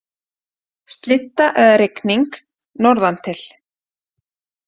Slydda eða rigning norðantil